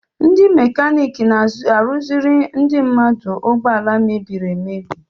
Ndị mekaniki na-arụziri ndị mmadụ ụgbọala mebiri emebi.